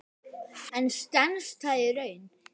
En stenst það í raun?